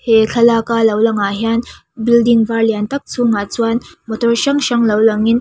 he thlalak a lo langah hian building var lian tak chungah chuan motor hrang hrang lo langin--